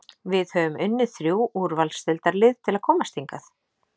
Við höfum unnið þrjú úrvalsdeildarlið til að komast hingað.